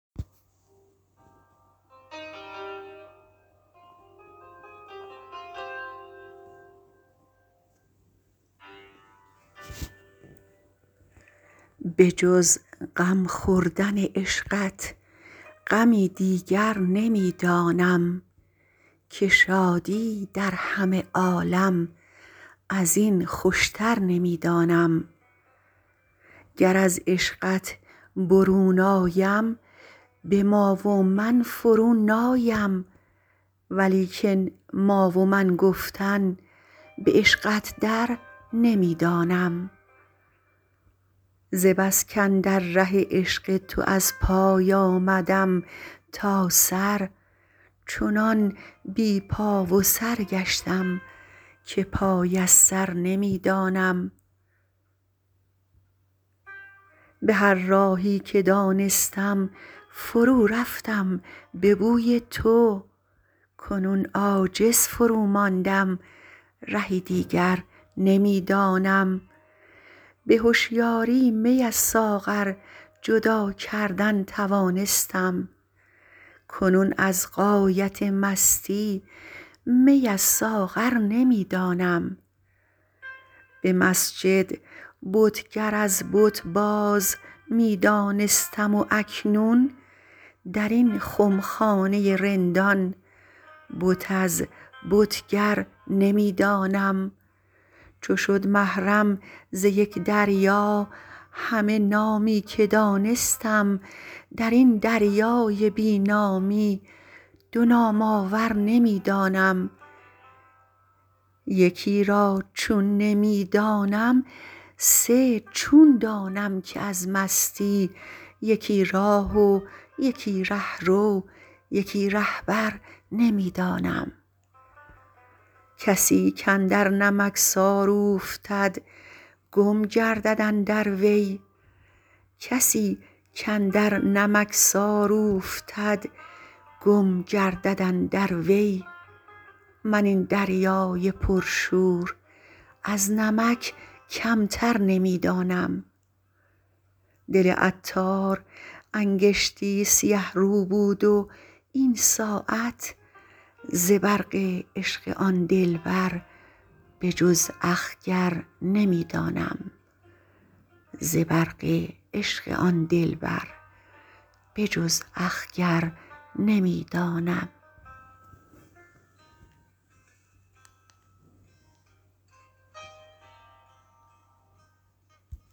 بجز غم خوردن عشقت غمی دیگر نمی دانم که شادی در همه عالم ازین خوشتر نمی دانم گر از عشقت برون آیم به ما و من فرو نایم ولیکن ما و من گفتن به عشقت در نمی دانم ز بس کاندر ره عشق تو از پای آمدم تا سر چنان بی پا و سر گشتم که پای از سر نمی دانم به هر راهی که دانستم فرو رفتم به بوی تو کنون عاجز فرو ماندم رهی دیگر نمی دانم به هشیاری می از ساغر جدا کردن توانستم کنون از غایت مستی می از ساغر نمی دانم به مسجد بتگر از بت باز می دانستم و اکنون درین خمخانه رندان بت از بتگر نمی دانم چو شد محرم ز یک دریا همه نامی که دانستم درین دریای بی نامی دو نام آور نمی دانم یکی را چون نمی دانم سه چون دانم که از مستی یکی راه و یکی رهرو یکی رهبر نمی دانم کسی کاندر نمکسار اوفتد گم گردد اندر وی من این دریای پر شور از نمک کمتر نمی دانم دل عطار انگشتی سیه رو بود و این ساعت ز برق عشق آن دلبر به جز اخگر نمی دانم